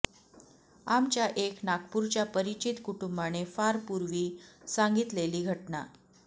आमच्या एक नागपूरच्या परिचित कुटुंबाने फार पूर्वी सांगितलेली घटना